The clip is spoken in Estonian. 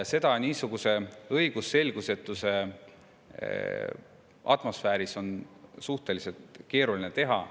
Niisuguse õigusselgusetuse atmosfääris on seda suhteliselt keeruline teha.